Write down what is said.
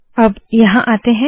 अब यहाँ आते है